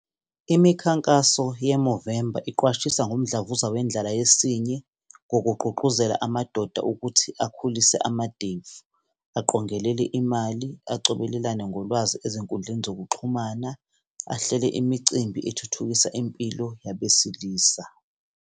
Imikhankaso ye-Movember iqwashisa ngomdlavuza wendlala yesinye, ngokugqugquzela amadoda ukuthi akhulise amadevu, aqongelele imali acobelelane ngolwazi ezinkundleni zokuxhumana, ahlele imicimbi ethuthukisa impilo yabesilisa.